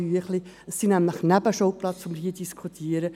Es sind nämlich Nebenschauplätze, die wir hier diskutieren.